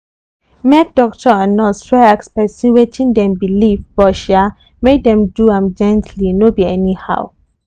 make doctor and nurse try ask person wetin dem believe but um make dem do am gently no be anyhow.